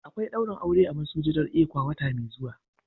Akwai daurin aure a masujadan ecwa wata mai zuwa.